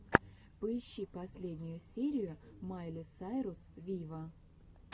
поищи последнюю серию майли сайрус виво